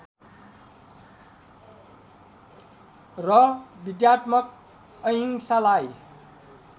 र विद्यात्मक अहिंसालाई